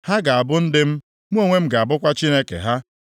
Ha ga-abụ ndị m, mụ onwe m ga-abụkwa Chineke ha.